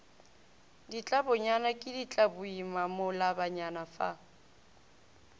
ditlabonyane ke ditlaboima malobanyana fa